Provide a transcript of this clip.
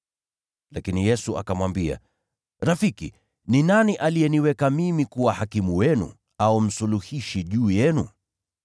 Lakini Yesu akamwambia, “Rafiki, ni nani aliyeniweka mimi kuwa hakimu wenu au msuluhishi juu yenu?”